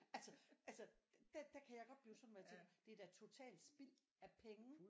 Altså altså der der kan jeg godt blive sådan hvor jeg tænker det er da totalt spild af penge